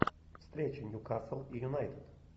встреча ньюкасл и юнайтед